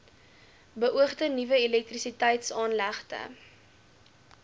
beoogde nuwe elektrisiteitsaanlegte